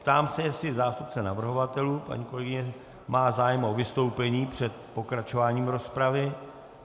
Ptám se, jestli zástupce navrhovatelů, paní kolegyně, má zájem o vystoupení před pokračováním rozpravy.